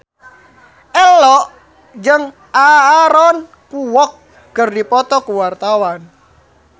Ello jeung Aaron Kwok keur dipoto ku wartawan